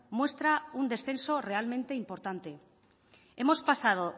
muestra un descenso realmente importante hemos pasado